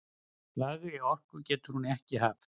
Lægri orku getur hún ekki haft!